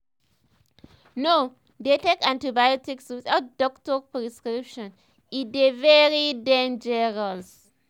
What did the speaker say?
no um dey take antibiotics without doctor prescription e um dey very um dangerous